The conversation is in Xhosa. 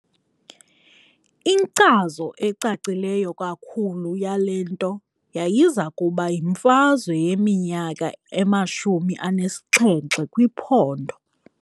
Inkcazo ecacileyo kakhulu yale nto yayiza kuba yimfazwe yeMinyaka emashumi anesixhenxe kwiPhondo.